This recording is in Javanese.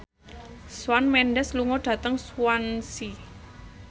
Shawn Mendes lunga dhateng Swansea